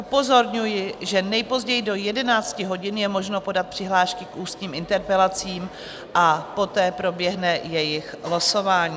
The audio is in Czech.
Upozorňuji, že nejpozději do 11 hodin je možno podat přihlášky k ústním interpelacím a poté proběhne jejich losování.